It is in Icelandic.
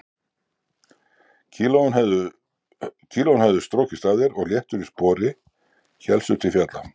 Kílóin höfðu strokist af þér og léttur í spori hélstu til fjalla.